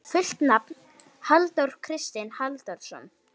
Fullt nafn: Halldór Kristinn Halldórsson.